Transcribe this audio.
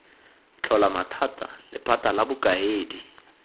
tlhola mathata lephata la bokaedi